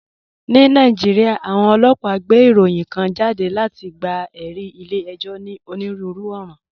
Ní Nàìjíríà, àwọn ọlọ́pàá gbé ìròyìn kan jáde láti gba ẹ̀rí ilé ẹjọ́ ní onírúurú ọ̀ràn.